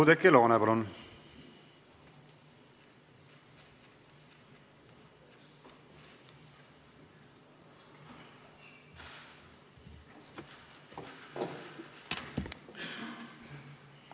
Oudekki Loone, palun!